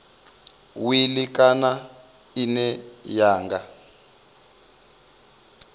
wili kana ine ya nga